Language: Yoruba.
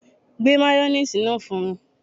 Gbé mayoníìsì náà fún mi